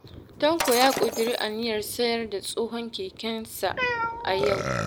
Tanko ya ƙudiri aniyar sayar da tsohon kekensa a yau